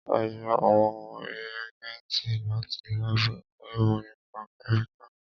A yá àwọn rìégẹ́ntì láti lábù ẹ̀kọ́ ìmọ́ nípa kẹ́míkà